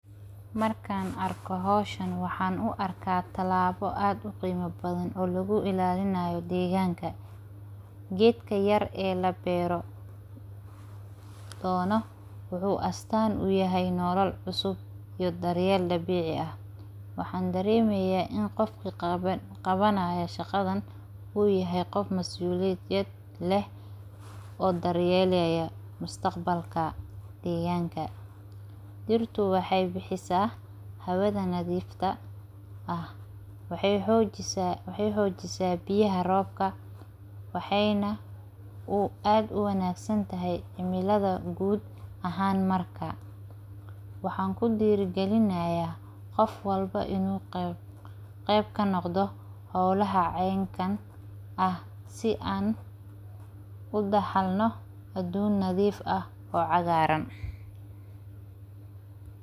Markan arko hoshan waxan uu arka tilabo aad uqima badhan lagu ilalinayo deganka, gedka yar ee labero ona wuxu astan uyahay nolol cusub, iyo daryel dabici ah. Waxan daremoyah qofka qabanaya shaqadan uyahay qoof mas uliyad leeh, oo daryelaya mustaqbalka deganka, dirtu waxay bixisa hawada nadifka ah, waxay xojisa biyaha robka, waxay nah uu ad uwanag santahy cimilada gud ahan marka. Waxan kudiri galinayan qoof walbo inu qeeb kanoqdo xolaha cenkan ah sii an udaxalno adunyo nadif ah oo cagaran.